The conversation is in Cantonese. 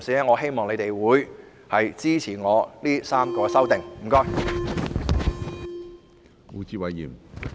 我希望議會的同事支持我的3項修正案。